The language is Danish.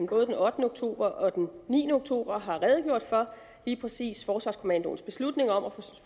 både den ottende oktober og den niende oktober og har redegjort for lige præcis forsvarskommandoens beslutning om at